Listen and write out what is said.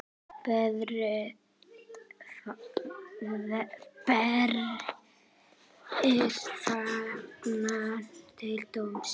Berið fangann til dóms.